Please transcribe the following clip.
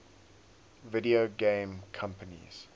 video game companies